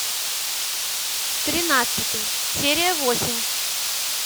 тринадцатый серия восемь